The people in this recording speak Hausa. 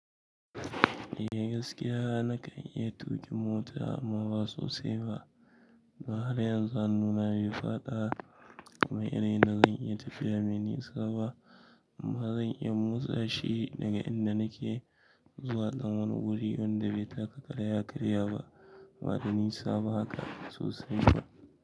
Eh gaskiya nakan iya tuƙin mota amma ba sosaiba. Na har yanzu hannuna bai faɗa ba kuma ina rina zanyi tafiya mai ni saba. Zan iya motsa shi daga inda nake zuwa dan wani guri da bai taka ƙara yakarya ba baɗanisa ba haka sosai ba.